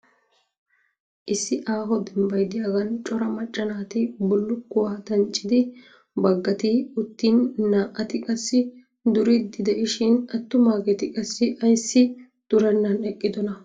Issi aaho dembbay diyagaan cora macca naati bullukkuwa danccidi baggati uttin naa'ati qassi duriiddi de'ishin attumaageeti qassi ayissi durennan eqqidonaa?